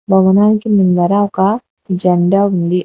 భవనానికి ముందర ఒక జెండా ఉంది.